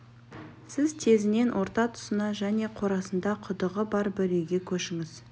сіз тезінен орта тұсына және қорасында құдығы бар бір үйге көшіңіз